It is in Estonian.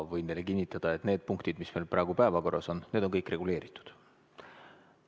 Võin teile kinnitada, et need punktid, mis on meil praegu päevakorras, on kõik reguleeritud.